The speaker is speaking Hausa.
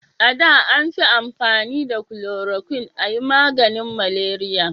A da an fi amfani da kulorokwin a yi maganin maleriya